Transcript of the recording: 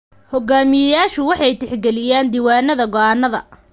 Hoggaamiyeyaashu waxay tixgeliyaan diiwaanada go'aannada.